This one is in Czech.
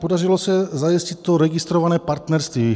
Podařilo se zajistit to registrované partnerství.